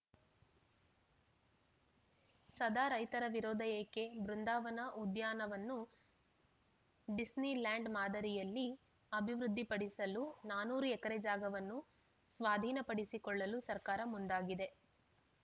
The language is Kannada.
ಸದ ರೈತರ ವಿರೋಧ ಏಕೆ ಬೃಂದಾವನ ಉದ್ಯಾನವನ್ನು ಡಿಸ್ನಿಲ್ಯಾಂಡ್‌ ಮಾದರಿಯಲ್ಲಿ ಅಭಿವೃದ್ಧಿಪಡಿಸಲು ನಾನೂರು ಎಕರೆ ಜಾಗವನ್ನು ಸ್ವಾಧೀನಪಡಿಸಕೊಳ್ಳಲು ಸರ್ಕಾರ ಮುಂದಾಗಿದೆ